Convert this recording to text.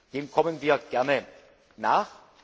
Dem kommen wir gerne nach.